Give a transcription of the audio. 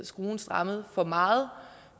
skruen strammet for meget